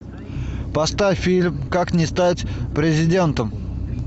поставь фильм как не стать президентом